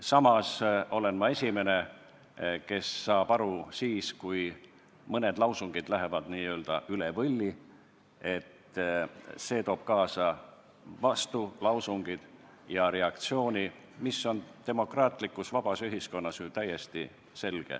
Samas olen ma esimene, kes saab aru, et kui mõned lausungid lähevad n-ö üle võlli, siis see toob kaasa vastulausungid ja reaktsiooni, mis on demokraatlikus vabas ühiskonnas ju täiesti selge.